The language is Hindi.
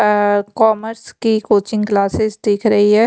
अ कॉमर्स की कोचिंग क्लासेस दिख रही है।